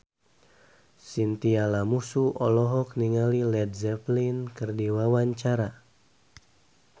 Chintya Lamusu olohok ningali Led Zeppelin keur diwawancara